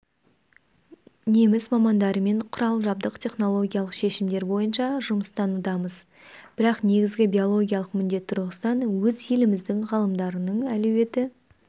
неміс мамандарымен құрал-жабдық технологиялық шешімдер бойынша жұмыстанудамыз бірақ негізгі биологиялық міндет тұрғысынан өз еліміздің ғалымдарының әлеуеті